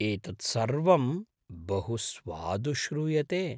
एतत् सर्वं बहु स्वादु श्रूयते।